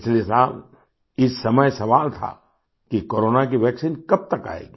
पिछले साल इस समय सवाल था कि कोरोना की वैक्सीन कब तक आएगी